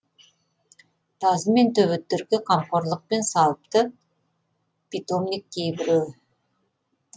тазы мен төбеттерге қамқорлықпен салыпты питомник кейбіреуі